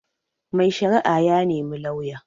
Mai shari'a ya nemi lauya